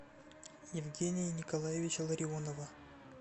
евгения николаевича ларионова